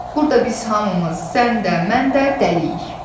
Burda biz hamımız, sən də, mən də dəliyik.